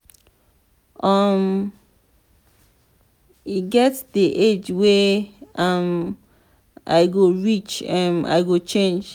um e get dey age wey i um go reach um i go change.